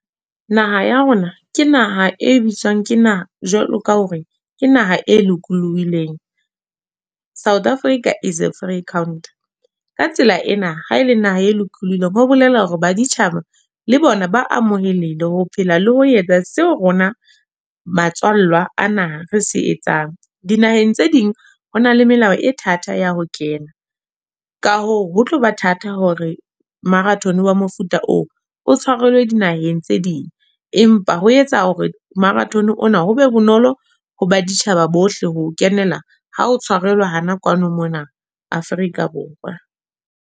Naha ya rona. Ke naha e bitswang ke naha, jwalo ka hore ke naha e lokolohileng. South Africa is a free country. Ka tsela ena, ha ele naha e lokolohileng, ho bolela hore baditjhaba le bona ba amoheleile ho phela le ho etsa seo rona matswalla a naha re se etsang. Dinaheng tse ding, ho na le melao e thata ya ho kena. Ka hoo ho tloba thata hore marathon wa mofuta oo o tshwarelwe dinaheng tse ding. Empa ho etsa hore marathon ona ho be bonolo ho baditjhaba bohle, ho o kenela ha o tshwarelwa hana kwano mona Afrika Borwa.